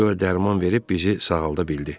Bəlkə o dərman verib bizi sağalda bildi.